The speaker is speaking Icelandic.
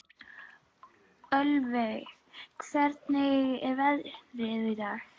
Ölveig, hvernig er veðrið í dag?